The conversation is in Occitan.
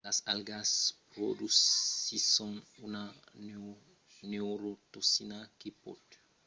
las algas produsisson una neurotoxina que pòt desactivar los nèrvis tant en çò dels umans que dels peisses